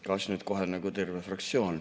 Kas nüüd kohe nagu terve fraktsioon ...